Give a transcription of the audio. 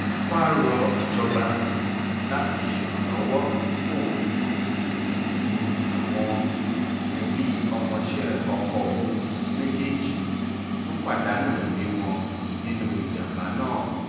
ó wáá rọ ìjọba láti ṣèrànlọ́wọ́ fóun àtàwọn ẹbí ọmọọṣẹ́ ọkọ òun méjèèjì tó pàdánù ẹ̀mí wọn nínú ìjàm̀bá náà